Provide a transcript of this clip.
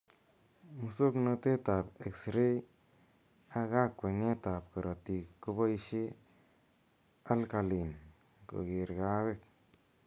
Musoknotet ap exray ak kakweng'et ap korotik keboishe alkalinn kegeree kaweek.